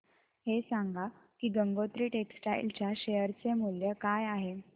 हे सांगा की गंगोत्री टेक्स्टाइल च्या शेअर चे मूल्य काय आहे